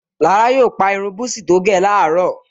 Lára yóò pa irun búsí tó gẹ̀ láró